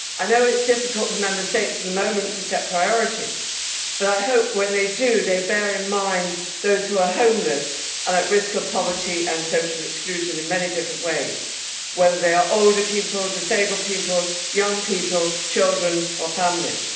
I know that it is difficult at the moment for Member States to set priorities, but I hope that when they do they bear in mind those who are homeless and at risk of poverty and social exclusion in many different ways, whether they are older people, disabled people, young people, children or families.